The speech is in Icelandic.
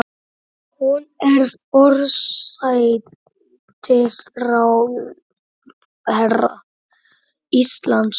Hún er forsætisráðherra Íslands.